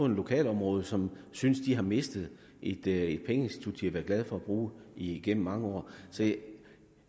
lokalområdet som synes de har mistet et et pengeinstitut de har været glade for at bruge igennem mange år så jeg